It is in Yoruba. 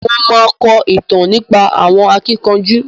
Mo ma kọ ìtàn nípa àwọn akíkanjú.